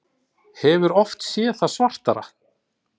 Hefur oft séð það svartara